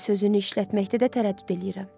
Teddi sözünü işlətməkdə də tərəddüd eləyirəm.